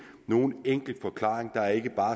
nogen enkel forklaring der er ikke